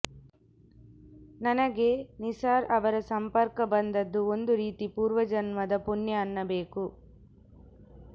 ನನಗೆ ನಿಸಾರ್ ಅವರ ಸಂಪರ್ಕ ಬಂದದ್ದು ಒಂದು ರೀತಿ ಪೂರ್ವಜನ್ಮದ ಪುಣ್ಯ ಅನ್ನಬೇಕು